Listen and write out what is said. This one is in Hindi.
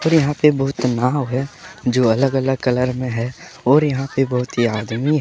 यहां से बहुत नाव है जो अलग अलग कलर में है और यहां से बहुत ही आदमी--